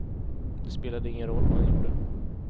Det spelade ingen roll vad han gjorde.